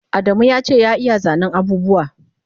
Adamu yace ya iya zanen abubuwa